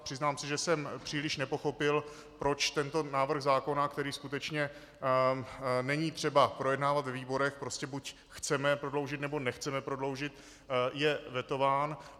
A přiznám se, že jsem příliš nepochopil, proč tento návrh zákona, který skutečně není třeba projednávat ve výborech - prostě buď chceme prodloužit, nebo nechceme prodloužit -, je vetován.